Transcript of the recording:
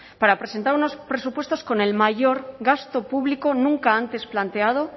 para presentar unos presupuestos con el mayor gasto público nunca antes planteado